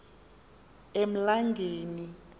emlangeni